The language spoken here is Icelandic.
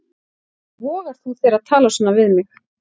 Hvernig vogar þú þér að tala svona við mig.